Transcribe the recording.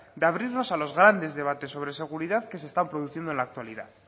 de abrirnos a los grandes debates sobre seguridad que se están produciendo en la actualidad